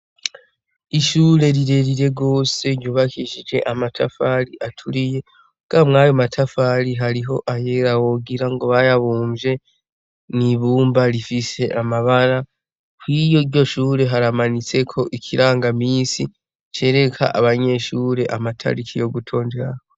Ishure rire rire gose ryubakishije amatafari aturiye muga mwayo matafari hariyo ayera wogira ngo bayabumvye mw' ibumba rifise amabara kw' iryo shure hamanitseko ikirangamisi cereka abanyeshure amatariki yo gutonderako.